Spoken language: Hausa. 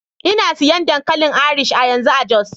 Ina siyan dankalin Irish a yanzu a Jos.